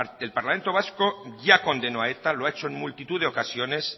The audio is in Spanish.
el parlamento vasco ya condenó a eta lo ha hecho en multitud de ocasiones